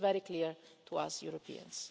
This is very clear to us Europeans.